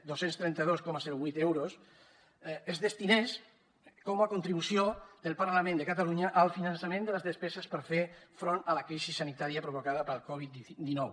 dos cents i trenta dos coma vuit euros es destinés com a contribució del parlament de catalunya al finançament de les despeses per fer front a la crisi sanitària provocada pel covid dinou